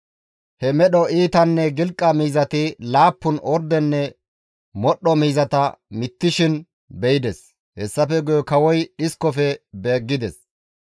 He medho iitanne gilqa miizati laappun ordenne modhdho miizata mittishin be7ides. Hessafe guye kawoy dhiskofe beeggides.